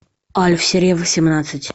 альф серия восемнадцать